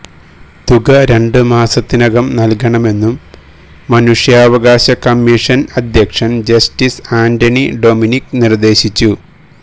തുക രണ്ട് മാസത്തിനകം നല്കണമെന്നും മനുഷ്യാവകാശ കമ്മിഷന് അധ്യക്ഷന് ജസ്റ്റിസ് ആന്റണി ഡൊമിനിക് നിര്ദേശിച്ചു